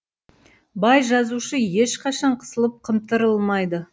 бай жазушы ешқашан қысылып қымтырылмайды